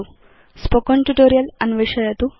spoken tutorial अन्वेषयतु